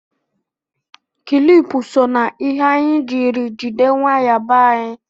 Kilipu so na ihe anyị jiri jide waya be anyị